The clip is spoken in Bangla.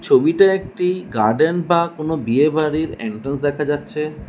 ছবিতে একটি গার্ডেন বা কোনো বিয়ে বাড়ির এন্ট্রান্স দেখা যাচ্ছে।